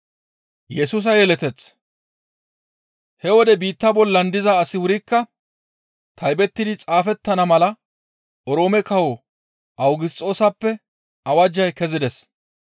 He wode biitta bollan diza asi wurikka taybettidi xaafettana mala Oroome kawo Awugisxoosappe awajjay kezides.